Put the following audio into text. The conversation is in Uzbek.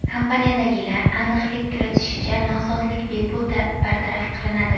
Kompaniyadagilar aniqlik kiritishicha, nosozlik bepul bartaraf qilinadi.